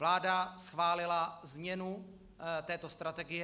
Vláda schválila změnu této strategie.